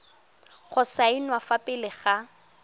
go saenwa fa pele ga